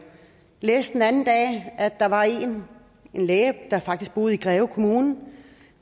læste den anden dag at der var en læge der faktisk boede i greve kommune